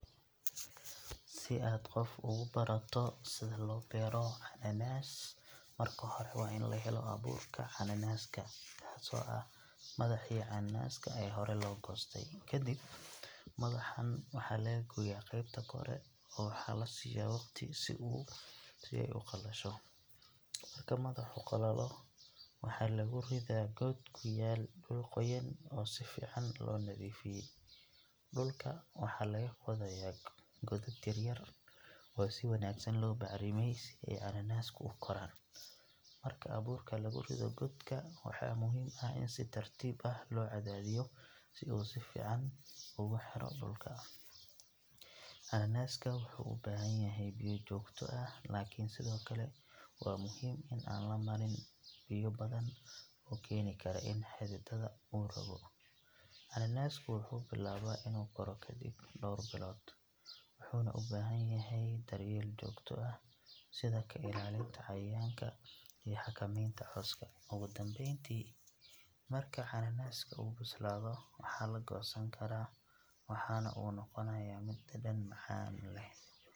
Si aad qof ugu barato sida loo beero cananaas, marka hore waa in la helo abuurka cananaaska, kaasoo ah madaxii cananaaska ee hore la goostay. Ka dib, madaxan waxaa laga gooyaa qaybta kore, oo waxaa la siiya waqti si ay u qalasho. Marka madaxu qalalo, waxaa lagu ridhaa god ku yaal dhul qoyan oo si fiican loo nadiifiyay. Dhulka waxaa laga qodayaa godad yaryar, oo si wanaagsan loo bacrimiyay, si ay cananaasku u koraan. Marka abuurka lagu rido godka, waxaa muhiim ah in si tartiib ah loo cadaadiyo si uu si fiican ugu xidho dhulka. Cananaaska wuxuu u baahan yahay biyo joogto ah, laakiin sidoo kale waa muhiim in aan la marin biyo badan oo keeni kara in xididada uu rogo. Cananaasku wuxuu bilaabaa inuu koro kadib dhowr bilood, wuxuuna u baahan yahay daryeel joogto ah sida ka ilaalinta cayayaanka iyo xakamaynta cawska. Ugu dambeyntii, marka cananaaska uu bislaado, waxaa la goosan karaa, waxaana uu noqonayaa mid dhadhan macaan leh.